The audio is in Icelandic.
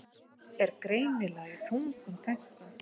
Er greinilega í þungum þönkum.